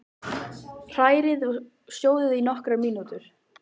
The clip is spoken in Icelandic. Hrærið í og sjóðið í nokkrar mínútur.